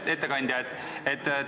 Hea ettekandja!